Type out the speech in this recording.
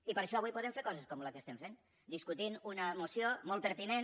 i per això avui podem fer coses com la que estem fent discutint una moció molt pertinent